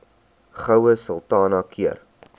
goue sultana keur